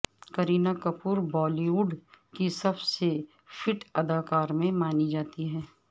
Kareena Kapoor Bollywood کی سب سے فٹ اداکاروں میں مانی جاتی ہیں